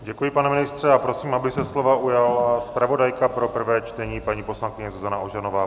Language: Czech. Děkuji, pane ministře, a prosím, aby se slova ujala zpravodajka pro prvé čtení, paní poslankyně Zuzana Ožanová.